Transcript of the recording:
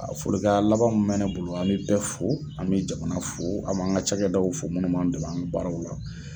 A foli kanɲɛ laban min bɛ ne bolo, an bɛ bɛɛ fo, an bɛ jamana fo, an bɛ an ka cakɛdaw fo munnu b'an dɛmɛ an ka baaraw la.